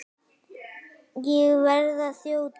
Ég verð að þjóta!